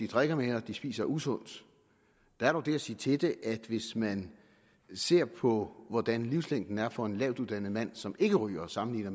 drikker mere og spiser usundt der er dog det at sige til det at hvis man ser på hvordan livslængden er for en lavtuddannet mand som ikke ryger og sammenligner